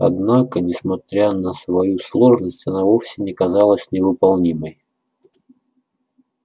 однако несмотря на свою сложность она вовсе не казалась невыполнимой